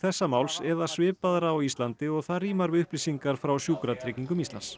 þessa máls eða svipaðra á Íslandi og það rímar við upplýsingar frá Sjúkratryggingum Íslands